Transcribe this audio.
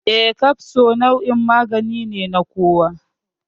Eh, kafso nau'in magani ne na kowa.